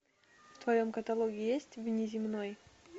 в твоем каталоге есть внеземной